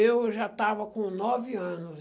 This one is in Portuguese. Eu já estava com nove anos.